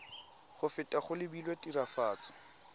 go feta go lebilwe tiragatso